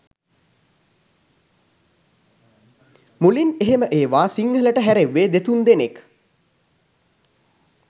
මුලින් එහෙම ඒවා සිංහලට හැරෙව්වේ දෙතුන් දෙනෙක්.